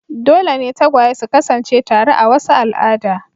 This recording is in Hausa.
Dole ne tagwaye su kasance tare a wasu al'ada.